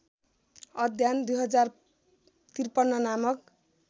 अध्ययन २०५३ नामक